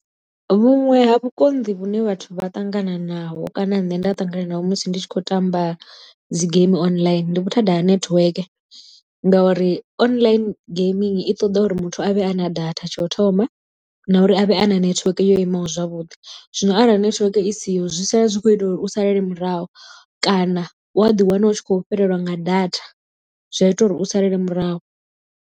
Vhuṅwe ha vhukonḓi vhune vhathu vha ṱangana naho kana nṋe nda ṱangana naho musi ndi tshi khou tamba dzi game online ndi vhuthada ha netiweke ngauri online geimini i ṱoḓa uri muthu a vhe a na data tsha u thoma na uri a vhe a na netiweke yo imaho zwavhuḓi zwino arali netiweke i siho zwi sala zwi kho itelwa uri u salele murahu kana wa ḓi wana u tshi khou fhelelwa nga data zwi a ita uri u salele murahu.